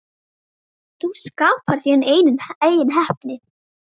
Þú skapar þína eigin heppni.